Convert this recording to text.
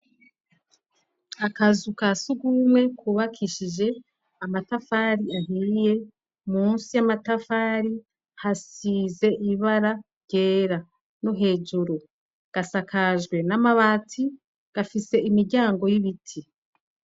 Akazu ka sugumwe kubakishije amatafari ahiye munsi y'amatafari hasize ibara ryera no hejuru gasakajwe n'amabati gafise imiryango y'ibiti.